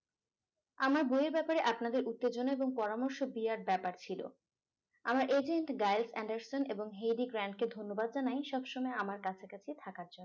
আমার বইয়ের ব্যাপারে আপনাদের উত্তেজনা এবং পরামর্শ বিরাট ব্যাপার ছিলো আমার agent gilded anderson এবং heavy grant কে ধন্যবাদ জানাই সবসময় আমার কাছাকাছি থাকার জন্য